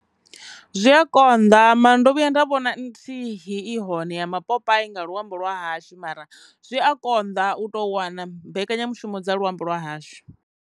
Zwi a konḓa mara ndo vhuya nda vhona nthihi i hone ya mapopai nga luambo lwa hashu mara zwi a konḓa u tou wana mbekanyamushumo dza luambo lwa hashu.